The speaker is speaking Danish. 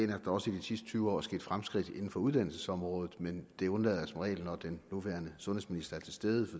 der også i de sidste tyve år er sket fremskridt inden for uddannelsesområdet men det undlader jeg som regel når den nuværende sundhedsminister er til stede